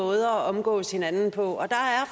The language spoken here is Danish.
måder at omgås hinanden på